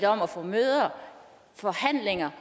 om at få møder og forhandlinger